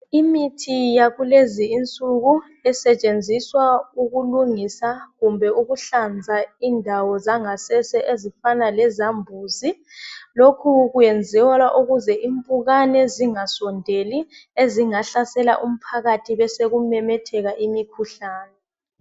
imithi yakulezi insuku esetshenziswa ukulungisa kumbe ukuhlanza indawo zangasese ezifana le zambuzi lokhu kwenziwa ukubana impukane zinga sondeli ezinga hlasela umphakathi besekumemetheka imikhuhlane